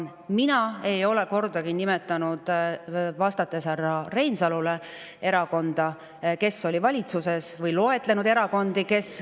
Mina ei ole härra Reinsalule vastates kordagi nimetanud ühtegi erakonda, kes oli valitsuses, või loetlenud erakondi …